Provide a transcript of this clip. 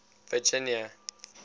virginia